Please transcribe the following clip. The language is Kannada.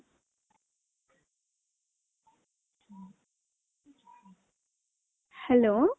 hello